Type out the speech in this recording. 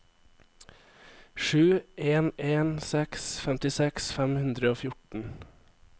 sju en en seks femtiseks fem hundre og fjorten